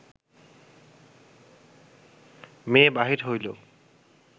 মেয়ে বাহির হইল